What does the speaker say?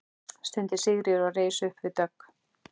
stundi Sigríður og reis upp við dogg.